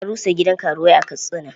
An rusa gidan karuwai a Katsina.